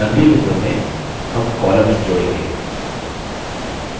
अगली window में हम columns जोड़ेंगे